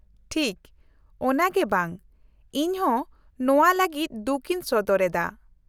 -ᱴᱷᱤᱠ, ᱚᱱᱟ ᱜᱮ ᱵᱟᱝ ! ᱤᱧᱦᱚᱸ ᱱᱚᱶᱟ ᱞᱟᱹᱜᱤᱫ ᱫᱩᱠ ᱤᱧ ᱥᱚᱫᱚᱨ ᱮᱫᱟ ᱾